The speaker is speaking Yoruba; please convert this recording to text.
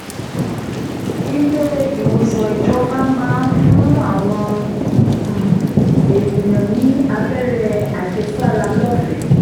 ilé-ìwòsàn ìjọba náà máa ń fún àwọn um èèyàn ní abẹ́rẹ́ àjẹsára lọ́fẹ̀ẹ́